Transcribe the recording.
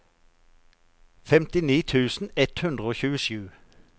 femtini tusen ett hundre og tjuesju